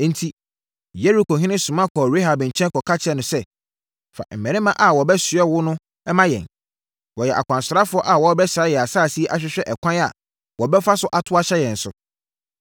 Enti Yerikohene soma kɔɔ Rahab nkyɛn kɔka kyerɛɛ no sɛ, “Fa mmarima a wɔabɛsoɛ wo no ma yɛn. Wɔyɛ akwansrafoɔ a wɔrebɛsra yɛn asase yi ahwehwɛ ɛkwan a wɔbɛfa so ato ahyɛ yɛn so.”